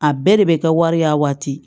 A bɛɛ de bɛ kɛ wari ye a waati